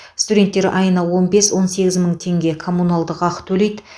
студенттер айына он бес он сегіз мың теңге коммуналдық ақы төлейді